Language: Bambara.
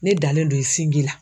Ne dalen do i sinji la.